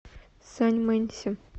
саньмэнься